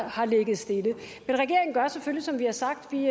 har ligget stille men regeringen gør selvfølgelig som vi har sagt vi